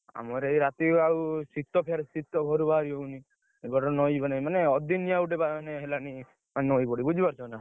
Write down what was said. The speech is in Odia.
ଆମର ଏଇ ରାତି ଆଉ ଶୀତ ଫେରେ ଶୀତ ଫେରେ ବା ଇଏ ହଉନି, ମାନେ ଅଦିନିଆ ମାନେ ହେଲାନି, ନଈବଢି ବୁଝି ପାରୁଛ ନା?